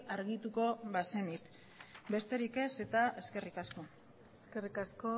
argituko bazenit besterik ez eta eskerrik asko eskerrik asko